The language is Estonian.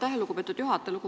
Aitäh, lugupeetud juhataja!